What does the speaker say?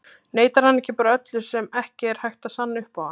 Neitar hann ekki bara öllu sem ekki er hægt að sanna upp á hann?